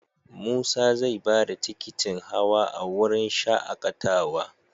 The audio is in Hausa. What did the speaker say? Musa zai ba da tikitin hawa a wurin shaAƙatawa.